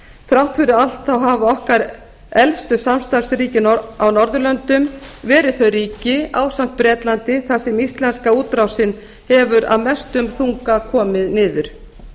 þrátt fyrir allt hafa okkar elstu samstarfsríki á norðurlöndum verið þau ríki ásamt bretlandi þar sem íslenska útrásin hefur af mestum þunga komið niður